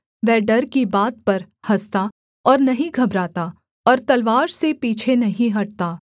वह डर की बात पर हँसता और नहीं घबराता और तलवार से पीछे नहीं हटता